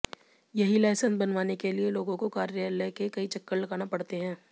यही लायसेंस बनवाने के लिए लोगों को कार्यालय के कई चक्कर लगाना पड़ते हैं